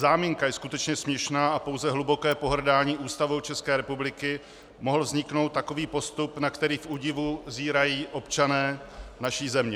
Záminka je skutečně směšná a pouze hlubokým pohrdáním Ústavou České republiky mohl vzniknout takový postup, na který v údivu zírají občané naší země.